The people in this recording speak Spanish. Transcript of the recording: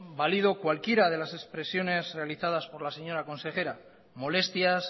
valido cualquiera de las expresiones realizadas por la señora consejera molestias